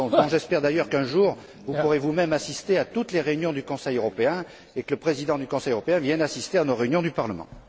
J'espère d'ailleurs qu'un jour vous pourrez, vous même, assister à toutes les réunions du Conseil européen et que le président du Conseil européen vienne assister à nos réunions du Parlement.